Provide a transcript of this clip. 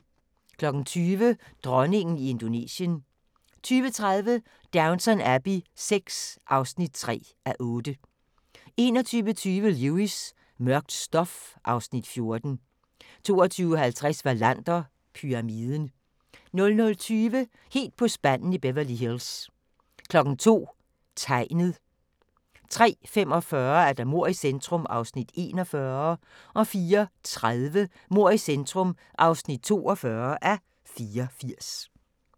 20:00: Dronningen i Indonesien 20:30: Downton Abbey VI (3:8) 21:20: Lewis: Mørkt stof (Afs. 14) 22:50: Wallander: Pyramiden 00:20: Helt på spanden i Beverly Hills 02:00: Tegnet 03:45: Mord i centrum (41:84) 04:30: Mord i centrum (42:84)